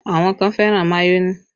Àwọn kan fẹ́ràn mayonẹ